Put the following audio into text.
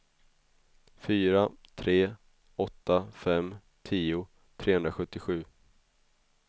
fyra tre åtta fem tio trehundrasjuttiosju